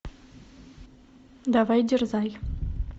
давай дерзай